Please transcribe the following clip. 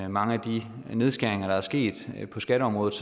mange af de nedskæringer der er sket på skatteområdet